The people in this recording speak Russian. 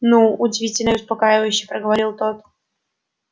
ну удивительно и успокаивающе проговорил тот